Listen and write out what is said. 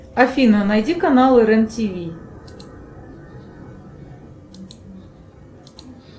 афина найди каналы рен тв